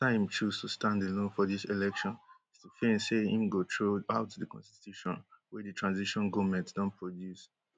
afta im choose to stand alone for dis elections stphane say im go throw out di constitution wey di transition goment don produce